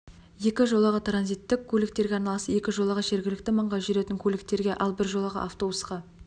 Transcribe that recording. екі жолағы транзиттік көліктерге арналса екі жолағы жергілікті маңға жүретін көліктерге ал бір жолағы автобусқа